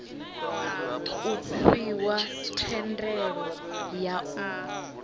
u fhiwa thendelo ya u